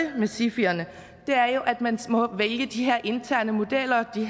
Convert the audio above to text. er med sifierne er jo at man må vælge de her interne modeller de